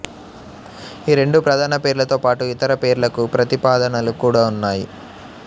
ఈ రెండు ప్రధాన పేర్లతో పాటు ఇతర పేర్లకు ప్రతిపాదనలు కూడా ఉన్నాయి